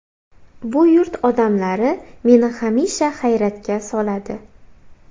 Bu yurt odamlari meni hamisha hayratga soladi.